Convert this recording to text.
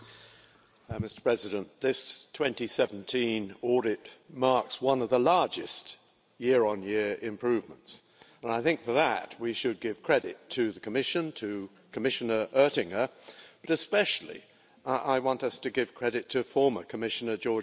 Mr President, this 2017 audit marks one of the largest year-on-year improvements, and I think for that we should give credit to the Commission and to Commissioner Oettinger. But especially I want us to give credit to former Commissioner Georgieva.